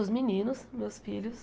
Os meninos, meus filhos.